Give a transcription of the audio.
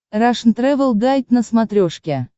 рашн тревел гайд на смотрешке